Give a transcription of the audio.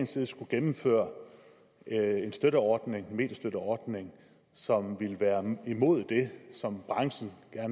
side skulle gennemføre en mediestøtteordning mediestøtteordning som går imod det som branchen